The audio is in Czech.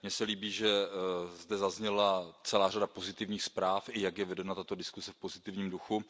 Mně se líbí, že zde zazněla celá řada pozitivních zpráv, i to, jak je vedena tato diskuse v pozitivním duchu.